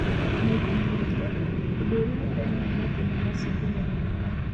Maita maingĩ, ũndũ ũrĩa ũrehaga mathĩna macio ndũmenyekaga.